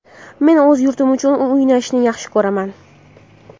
Men o‘z yurtim uchun o‘ynashni yaxshi ko‘raman.